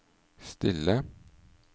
stille